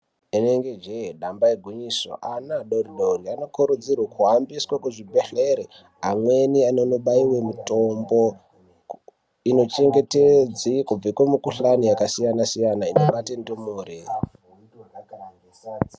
Rinenge jee damba igwinyiso ana adoodori anokuridzirwe kuhambiswe kuzvibhedhlera. Amweni anondobayiwe mitombo inochengetedza kubve kumikhuhlani yakasiyana siyana inobate ndumure.